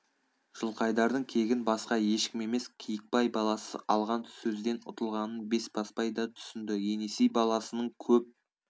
жылқайдардың кегін басқа ешкім емес киікбай баласы алған сөзден ұтылғанын бесбасбай да түсінді енесей баласының көп